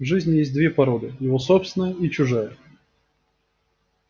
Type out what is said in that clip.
в жизни есть две породы его собственная и чужая